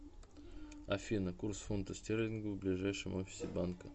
афина курс фунта стерлингов в ближайшем офисе банка